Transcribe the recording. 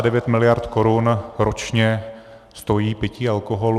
Takže 59 miliard korun ročně stojí pití alkoholu.